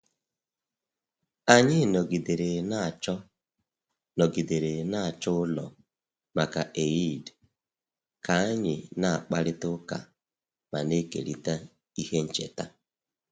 Anyị nọgidere na-achọ nọgidere na-achọ ụlọ maka Eid ka anyị na-akparịta ụka ma na-ekerịta ihe ncheta